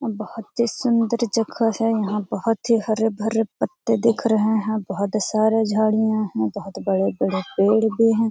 बोहोत ही सुंदर जगह है। यहाँ बोहोत ही हरे-भरे पत्ते दिख रहे है। बोहोत सारे झाड़ियां है। बोहोत बड़े-बड़े पेड़ भी है।